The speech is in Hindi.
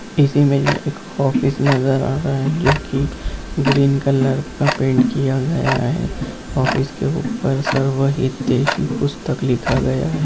इस इमेज में एक ऑफिस नज़र आ रहा है जो की ग्रीन कलर का पेंट किया गया है ऑफिस के ऊपर सर्वहितेश पुस्तक लिखा गया है।